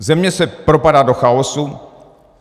Země se propadá do chaosu.